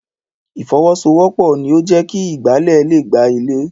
Ìfọwọ́sowọ́pọ̀ ni o jẹ kí ìgbálẹ̀ le gba ilẹ̀.